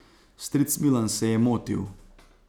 Stric Milan se je motil.